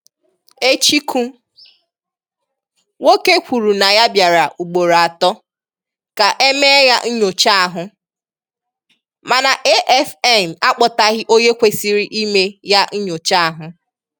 Echiku nwoke kwụrụ na ya bịara ụgboro atọ, ka émeé ya nyochá ahụ, mana AFN ákpotaghi onye kwésịrị ịme ya nyochá ahụ.